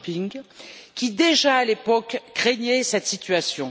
Jean Ping qui, déjà à l'époque, craignait cette situation.